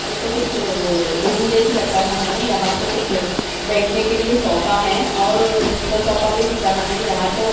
ये तो कुछ अअ रूम जैसा लग रहा है यँहा तो कुछ बैठने के लिए सोफा है और दूसरा सोफा भी दिख रहा है यँहा तो --